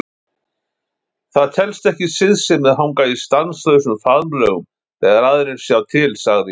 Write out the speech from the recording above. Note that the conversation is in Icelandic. Það telst ekki siðsemi að hanga í stanslausum faðmlögum þegar aðrir sjá til, sagði